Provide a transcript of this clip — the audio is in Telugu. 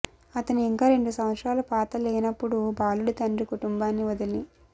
అతను ఇంకా రెండు సంవత్సరాల పాత లేనప్పుడు బాలుడి తండ్రి కుటుంబాన్ని వదిలి